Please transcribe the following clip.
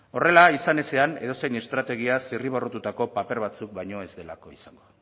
horrela izan ezean edozein estrategia zirriborratutako paper batzuk baino ez delako izango